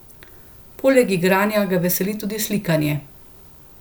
Poleg igranja ga veseli tudi slikanje.